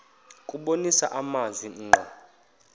kubonisa amazwi ngqo